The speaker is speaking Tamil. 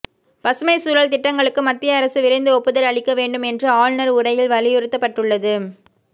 பசுமைச் சூழல் திட்டங்களுக்கு மத்திய அரசு விரைந்து ஒப்புதல் அளிக்க வேண்டும் என்று ஆளுநா் உரையில் வலியுறுத்தப்பட்டுள்ளது